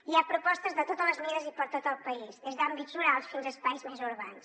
hi ha propostes de totes les mides i per a tot el país des d’àmbits rurals fins a espais més urbans